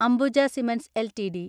Ambuja cements LTD